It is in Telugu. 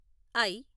ఐ